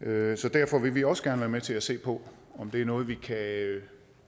derfor vil vi også gerne være med til at se på om det er noget vi kan